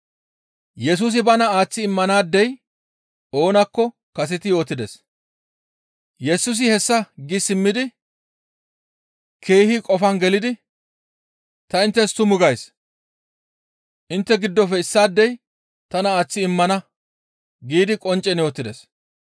Yesusi hessa gi simmidi keehi qofan gelidi, «Ta inttes tumu gays; intte giddofe issaadey tana aaththi immana» giidi qonccen yootides.